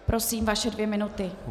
Prosím, vaše dvě minuty.